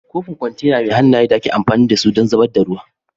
kofin kwantena mai hannaye da ake amfani da su don zubar da ruwa